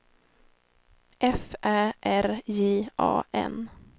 F Ä R J A N